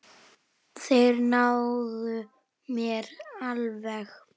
Þeir náðu mér alveg.